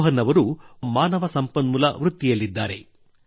ರೋಹನ್ ಅವರು ಒಬ್ಬ ಮಾನವ ಸಂಪನ್ಮೂಲ ವೃತ್ತಿಯಲ್ಲಿದ್ದಾರೆ